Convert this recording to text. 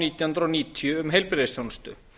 nítján hundruð níutíu um heilbrigðisþjónustu